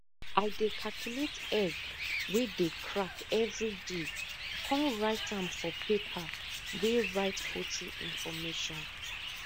i dey calculate egg wey dey crack everiday con write am for paper wey write poultry information